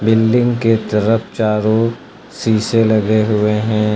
Building के तरफ चारों शीशे लगे हुए हैं।